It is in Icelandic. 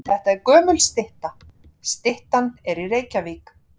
Þetta er gömul stytta. Styttan er í Reykjavík.